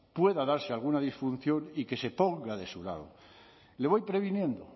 pueda darse alguna disfunción y que se ponga de su lado le voy previniendo